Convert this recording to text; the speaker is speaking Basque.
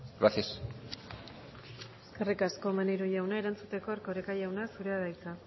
gracias eskerrik asko maneiro jauna erantzuteko erkoreka jauna zurea da hitza